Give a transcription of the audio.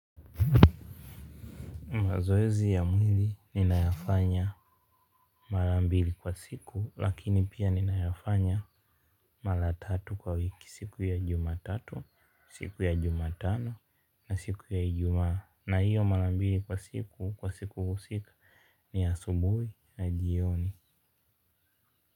Mazoezi ya mwili ninayafanya mara mbili kwa siku lakini pia ninayafanya mara tatu kwa wiki siku ya Jumatatu siku ya Jumatano na siku ya Ijumaa na hiyo mara mbili kwa siku kwa siku husika ni ya asubuhi na jioni.